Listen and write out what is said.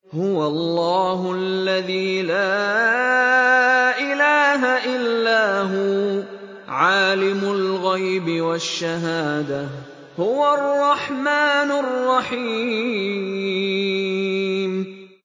هُوَ اللَّهُ الَّذِي لَا إِلَٰهَ إِلَّا هُوَ ۖ عَالِمُ الْغَيْبِ وَالشَّهَادَةِ ۖ هُوَ الرَّحْمَٰنُ الرَّحِيمُ